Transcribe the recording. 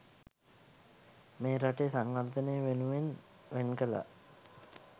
මේ රටේ සංවර්ධනය වෙනුවෙන් වෙන් කළා.